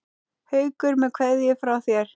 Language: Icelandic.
Haukur með kveðju frá þér.